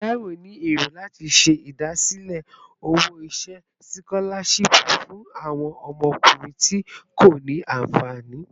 Taiwo ni ero lati ṣe idasile owo-iṣẹ sikolashipu fun awọn ọmọkunrin ti ko ni anfani